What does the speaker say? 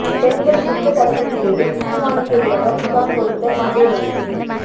பெண்கள் குற்ற தடுப்பு பிரிவில் சீமானுக்கு எதிராக புகார் கொடுத்த விஜயலட்சுமி